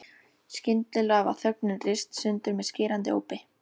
Skyndilega var þögnin rist sundur með skerandi ópi.